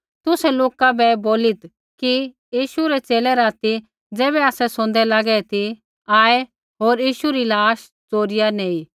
तुसै लोका बै बोलीत् कि यीशु रै च़ेले राती ज़ैबै आसै सोंदै लागै ती आऐ होर यीशु री लाश च़ोरिया नैंई